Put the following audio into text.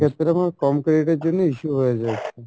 সেক্ষেত্রে আমার কম credit এর জন্যে issue হয়ে যাচ্ছে।